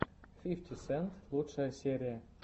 фифти сент лучшая серия